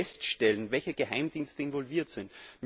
Wir müssen feststellen, welche Geheimdienste involviert sind.